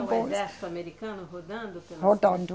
Tinha um exército americano rodando? Rodando